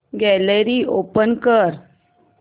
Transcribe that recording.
gallery open कर